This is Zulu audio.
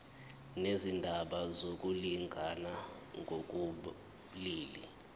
nezindaba zokulingana ngokobulili